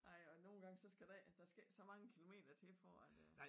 Ej og nogen gange så skal der ikke der skal ikke så mange kilometer til for at øh